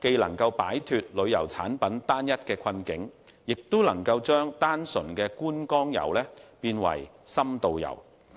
既能擺脫旅遊產品單一的困局，亦能將單純的觀光遊升級為深度遊。